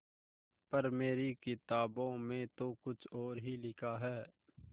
पर मेरी किताबों में तो कुछ और ही लिखा है